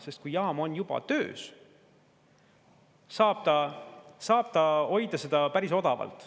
Sest kui jaam on juba töös, saab ta hoida seda päris odavalt.